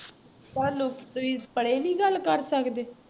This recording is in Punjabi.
ਤੁਹਾਨੂੰ ਤੁਸੀਂ ਪਰੇ ਨੀ ਗੱਲ ਕਰ ਸਕਦੇ।